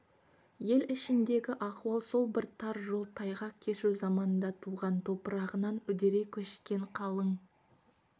ел ішіндегі ахуал сол бір тар жол тайғақ кешу заманда туған топырағынан үдере көшкен қалың